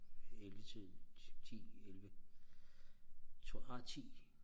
ellevetiden ti elleve tror ej ti